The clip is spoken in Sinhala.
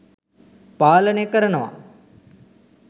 පාලනය කරනව.